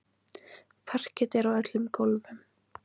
Parket er á öllum gólfum.